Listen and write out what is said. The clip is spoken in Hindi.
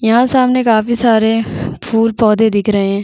यहाँ सामने काफी सारे फुल पौधे दिख रहे है।